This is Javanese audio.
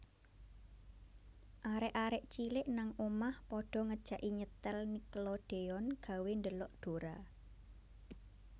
Arek arek cilik nang omah podo ngejaki nyetel Nickelodeon gawe ndelok Dora